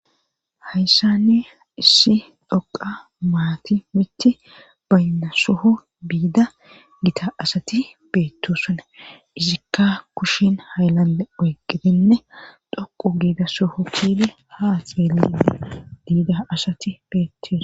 hayssani issi dhoqa maati mitti bayna suhu biida gita asati beettu sane izikka kushin haylanle oygebinne dhoqu giida suhu kie haa xeeliee biida asati beettisa